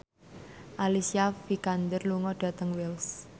Alicia Vikander lunga dhateng Wells